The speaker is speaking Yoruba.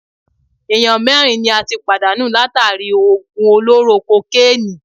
Ènìyàn mẹ́rin ni a tí pàdánù látàri í òògùn olóró kokénìí.